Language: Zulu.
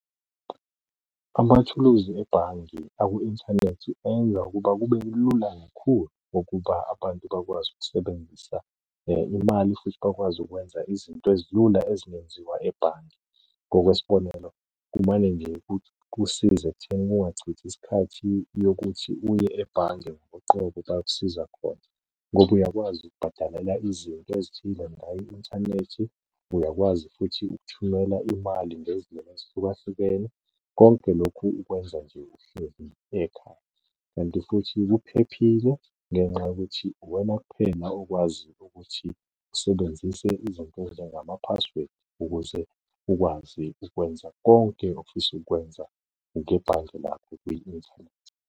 Amathuluzi ebhange aku-inthanethi enza ukuba kube lula kakhulu ukuba abantu bakwazi ukusebenzisa imali futhi bakwazi ukwenza izinto ezilula ezingenziwa ebhange. Ngokwesibonelo, kumane nje kusize ekuthenini kungachithi isikhathi yokuthi uye ebhange ngoqobo bayokusiza khona, ngoba uyakwazi ukubhadalela izinto ezithile ngayo i-inthanethi. Uyakwazi futhi ukuthumela imali ngezindlela ezihlukahlukene. Konke lokhu ikwenza nje uhlezi ekhaya kanti futhi kuphephile ngenxa yokuthi uwena kuphela okwaziyo ukuthi usebenzise izinto ezinjengama-password ukuze ukwazi ukwenza konke ofisa ukukwenza ngebhange lakho kwi-inthanethi.